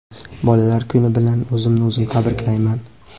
Bolalar kuni bilan o‘zimni o‘zim tabriklayman.